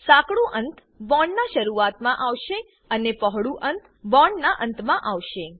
સાંકડું અંત બોન્ડ ના શરૂઆતમાં આવશે અને પહોળું અંત બોન્ડના અંત મા આવે છે